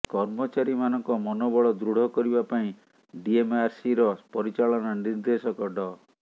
କର୍ମଚାରୀମାନଙ୍କ ମନୋବଳ ଦୃଢ କରିବା ପାଇଁ ଡିଏମଆରସିର ପରିଚାଳନା ନିର୍ଦ୍ଦେଶକ ଡ